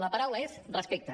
la paraula és respecte